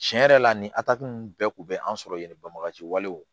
Tiɲɛ yɛrɛ la nin atatu ninnu bɛɛ kun bɛ an sɔrɔ yen bagaji walew